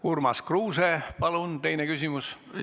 Urmas Kruuse, palun teine küsimus!